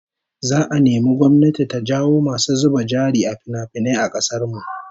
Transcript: Za'a nemi gwamnati ta jawo masu zuba jari a finafinai a kasar mu